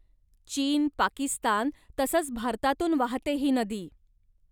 चीन, पाकिस्तान तसंच भारतातून वाहते ही नदी.